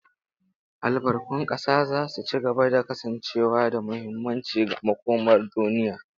Albarkun ƙasa za su ci gaba da kasancewa da muhimmanci ga makomar duniya.